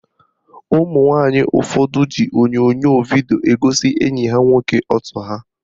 Ụmụnwanyị ụfọdụ ji onyonyo vidio egosi enyi ha nwoke ọtọ ha